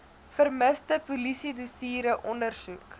vermiste polisiedossiere ondersoek